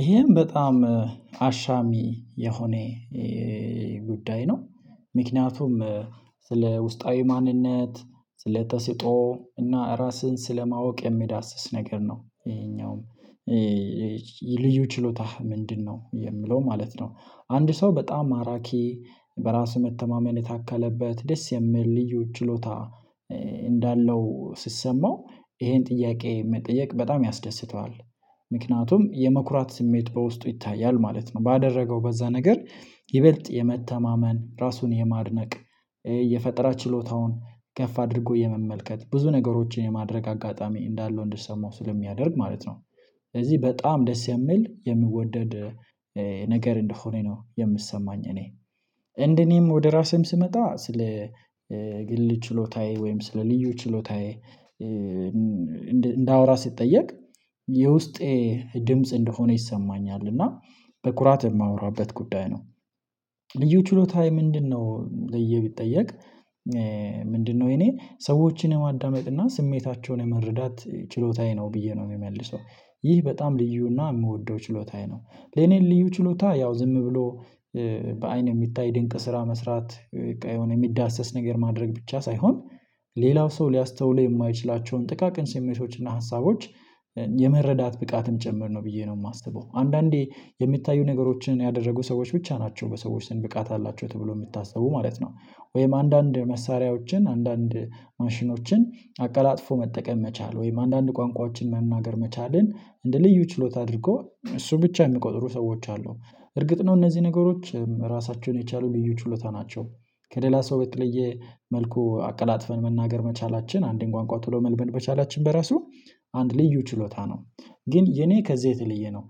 ይሄም በጣም አሻሚ የሆነ ጉዳይ ነው ምክንያቱም ስለ ውስጣዊ ማንነት ስለ ተሰጦ እና ራስህን ስለማወቅ የሚዳስስ ነገር ነው ይሄኛውም ልዩ ችሎታህ ምንድነው የምለው ማለት ነው። አንድ ሰው በጣም ማራኪ በራስህ መተማመን የታከለበት ደስ የሚል ልዩ ችሎታ እንዳለው ሲሰማው ይሄን ጥያቄ መጠየቅ በጣም ያስደስተዋል ምክንያቱም የመኩራት ስሜት በውስጡ ይታያል ማለት ነው። ባደረገው በዛ ነገር ይበልጥ የመተማመን ራሱን የማድነቅ የፈጠራ ችሎታውን ከፍ አድርጎ የመመልከት ብዙ ነገሮችን የማድረግ አጋጣሚ እንዳለው እንድሰማው ስለሚያደርግ ማለት ነው። ስለዚህ በጣም ደስ የሚል የሚወደድ ነገር እንደሆነ ነው የሚሰማኝ እኔ እንደኔም ወደ ራሴም ስመጣ ስለ ግል ችሎታዬ ወይም ስለ ልዩ ችሎታዬ እንዳወራ ስጠየቅ የውስጤ ድምጽ እንደሆነ ይሰማኛል እና በኩራት የማወራበት ጉዳይ ነው። ልዩ ችሎታዬ ምንድነው ብየ ብጠየቅ ምንድነው የኔ ሰዎችን የማዳመጥ እና ስሜታቸውን የመረዳት ችሎታዬ ነው ብዬ ነው የምመልሰው። ይህ በጣም ልዩና የምወደው ችሎታዬ ነው። ለኔ ልዩ ችሎታ ያው ዝም ብሎ በአይን የሚታይ ድንቅ ስራ መስራት የሚዳሰስ ነገር ማድረግ ብቻ ሳይሆን ሌላው ሰው ሊያስተውለው የማይችላቸውን ጥቃቅን ስሜቶችና ሀሳቦች የመረዳት ብቃትም ጭምር ነው ብዬ ነው የማስበው። አንዳንዴ የሚታዩ ነገሮችን ያደረጉ ሰዎች ብቻ ናቸው በሰዎች ዘንድ ብቃት አላቸው ተብሎ የሚታሰቡ ማለት ነው። ወይም አንዳንድ መሳሪያዎችን አንዳንድ ማሽኖችን አቀላጥፎ መጠቀም መቻል ወይም አንዳንድ ቋንቋዎችን መናገር መቻልን እንደ ልዩ ችሎታ አድርጎ እሱ ብቻ የሚቆጥሩ ሰዎች አሉ። እርግጥ ነው እነዚህ ነገሮች ራሳቸውን የቻሉ ልዩ ችሎታ ናቸው። ከሌላ ሰው በተለየ መልኩ አቀላጥፈን መናገር መቻላችን አንድን ቋንቋ ቶሎ መልበል በቻላችን በራሱ አንድ ልዩ ችሎታ ነው። ግን የኔ ከዚህ የተለየ ነው።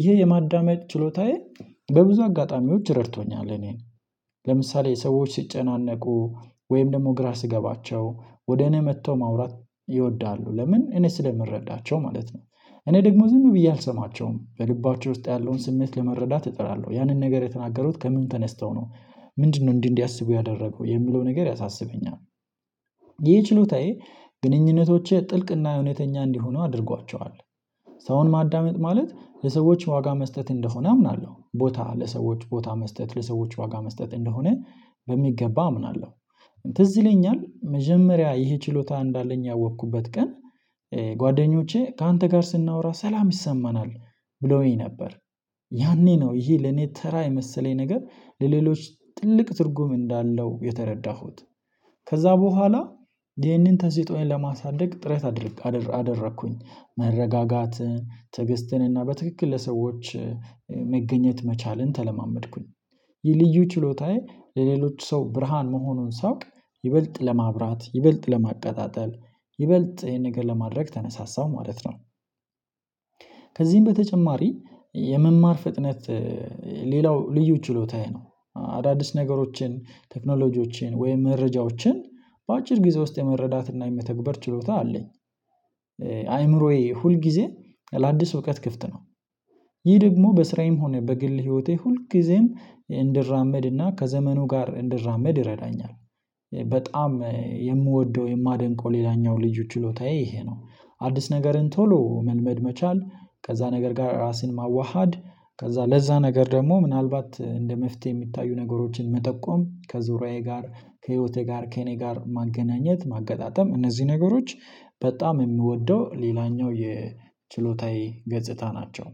ይሄ የማዳመጥ ችሎታዬ በብዙ አጋጣሚዎች ረድቶኛል እኔን ለምሳሌ ሰዎች ሲጨናነቁ ወይም ደግሞ ግራ ሲገባቸው ወደ እኔ መጥተው ማውራት ይወዳሉ ለምን እኔ ስለምረዳቸው ማለት ነው። እኔ ደግሞ ዝም ብዬ አልሰማቸውም በልባቸው ውስጥ ያለውን ስሜት ለመረዳት እጥራለሁ ያንን ነገር የተናገሩት ከምን ተነስተው ነው ምንድነው እንዲህ እንዲህ እዲያስቡ ያደረገው የሚለው ነገር ያሳስበኛል? ይህ ችሎታዬ ግንኙነቶቼ ጥልቅና እውነተኛ እንዲሆኑ አድርጓቸዋል። ሰውን ማዳመጥ ማለት ለሰዎች ዋጋ መስጠት እንደሆነ አምናለሁ ቦታ ለሰዎች ቦታ መስጠት ለሰዎች ዋጋ መስጠት እንደሆነ በሚገባ አምናለሁ። ትዝ ይለኛል መጀመሪያ ይሄ ችሎታ እንዳለኝ ያወቅኩበት ቀን ጓደኞቼ ካንተ ጋር ስናወራ ሰላም ይሰማናል ብለውኝ ነበር። ያኔ ነው ይሄ ለኔ ተራ የመሰለኝ ነገር ለሌሎች ጥልቅ ትርጉም እንዳለው የተረዳሁት ከዛ በኋላ ይህንን ተሰጥኦየን ለማሳደግ ጥረት አደረኩኝ መረጋጋትን ትዕግስትን እና በትክክል ለሰዎች መገኘት መቻልን ተለማመድኩኝ። የልዩ ችሎታዬ ለሌሎች ሰው ብርሃን መሆኑን ሳውቅ ይበልጥ ለማብራት ይበልጥ ለማቀጣጠል ይበልጥ ይሄን ነገር ለማድረግ ተነሳሳው ማለት ነው። ከዚህም በተጨማሪ የመማር ፍጥነት ሌላው ልዩ ችሎታዬ ነው አዳዲስ ነገሮችን ቴክኖሎጂዎችን ወይም መረጃዎችን በአጭር ጊዜ ውስጥ የመረዳትና የመተግበር ችሎታ አለኝ። አይምሮዬ ሁል ጊዜ ለአዲስ እውቀት ክፍት ነው። ይህ ደግሞ በስራዬም ሆነ በግል ህይወቴ ሁልጊዜም እንድራመድና ከዘመኑ ጋር እንድራመድ ይረዳኛል። በጣም የምወደው የማደንቀው ሌላኛው ልዩ ችሎታዬ ይሄ ነው። አዲስ ነገርን ቶሎ መልመድ መቻል ከዛ ነገር ጋር ራስን ማዋሃድ ከዛ ለዛ ነገር ደግሞ ምናልባት እንደ መፍትሄ የሚታዩ ነገሮችን መጠቆም ከዙሪያዬ ጋር ከህይወቴ ጋር ከእኔ ጋር ማገናኘት ማገጣጠም እነዚህ ነገሮች በጣም የምወደው ሌላኛው የችሎታዬ ገጽታ ናቸው።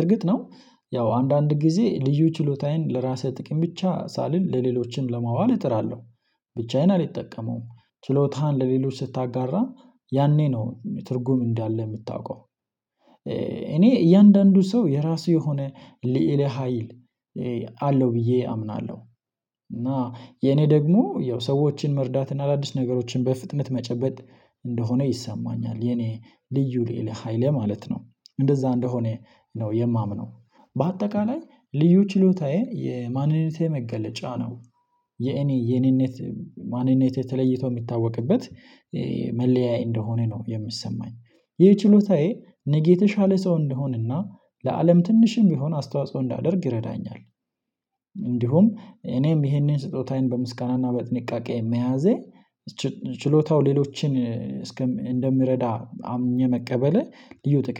እርግጥ ነው ያው አንዳንድ ጊዜ ልዩ ችሎታዬን ለራስህ ጥቅም ብቻ ሳልል ለሌሎችም ለማዋል እጥራለሁ። ብቻዬን አልጠቀመውም ችሎታህን ለሌሎች ስታጋራ ያኔ ነው ትርጉም እንዳለ የምታውቀው። እኔ እያንዳንዱ ሰው የራሱ የሆነ ልዕለ ሀይል አለው ብዬ አምናለሁ። እና የኔ ደግሞ ያው ሰዎችን መርዳት እና አዳዲስ ነገሮችን በፍጥነት መጨበጥ እንደሆነ ይሰማኛል የኔ ልዩ ልዕለ ሃይሌ ማለት ነው። እንደዛ እንደሆነ ነው የማምነው በአጠቃላይ ልዩ ችሎታዬ የማንነቴ መገለጫ ነው። የኔ የኔነት ማንነት የተለይቶ የሚታወቅበት መለያይ እንደሆነ ነው የሚሰማኝ። ይህ ችሎታዬ ነገ የተሻለ ሰው እንደሆንና ለአለም ትንሽም ቢሆን አስተዋጽኦ እንዳደርግ ይረዳኛል። እንዲሁም እኔም ይሄንን ስጦታዬን በምስጋናና በጥንቃቄ መያዜ ችሎታው ሌሎችን እንደምረዳ አምኜ መቀበሌ ልዩ ጥቅም